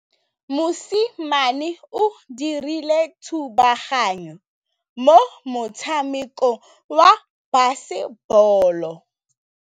Mosimane o dirile thubaganyô mo motshamekong wa basebôlô.